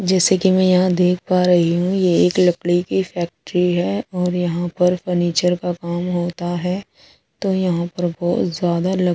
जैसे की में देख पा रही हूँ ये एक लकड़ी की फैक्ट्री है और यहाँ पर फर्नीचर का काम होता है तो यहाँ पर बोहोत ज्यादा लकड़ी है कोई --